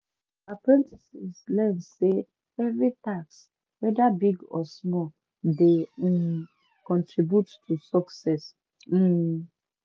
apprentices learn say every task whether big or small dey um contribute to success um